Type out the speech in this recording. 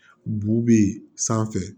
Bu bɛ yen sanfɛ